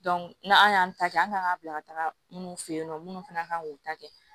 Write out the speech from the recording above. n'an y'an ta kɛ an ka bila minnu fe yen nɔ minnu fana kan k'u ta kɛ